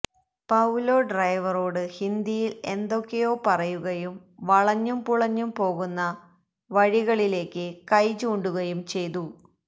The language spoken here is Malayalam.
പൌലോ ഡ്രൈവറോട് ഹിന്ദിയില് എന്തൊക്കെയോ പറയുകയും വളഞ്ഞും പുളഞ്ഞും പോകുന്ന വഴികളിലേക്ക് കൈ ചൂണ്ടുകയും ചെയ്തു